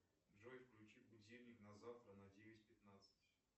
джой включи будильник на завтра на девять пятнадцать